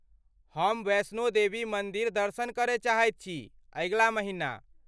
हम वैष्णो देवी मन्दिर दर्शन करय चाहैत छी, अगिला महिना।